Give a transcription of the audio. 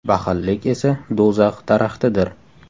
Baxillik esa do‘zax daraxtidir.